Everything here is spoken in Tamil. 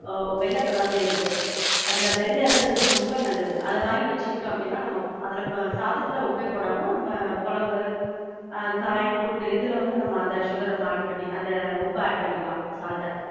ஒ வெள்ள colour ல இருக்கு, அதுல வெள்ள இருக்குறது ரொம்ப நல்லது. அத வாங்கி வச்சிக்கிட்டோம் அப்படினா, நம்ம அதுல சாதத்துல உப்பே போடாம கொழம்பு அஹ் காய், கூட்டு, இதுல வந்து நம்ம அந்த sugar நம்ம add பண்ணி, அந்த உப்ப add பண்ணிக்கலாம்.